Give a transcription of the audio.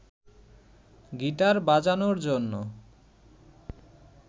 guitar বাজানোর জন্য